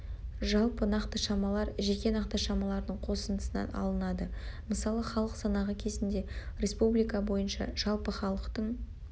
жалпы нақты шамалар жеке нақты шамалардың қосындысынан алынады мысалы халық санағы кезінде республика бойынша жалпы халықтың